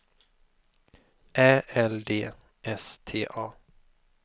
Ä L D S T A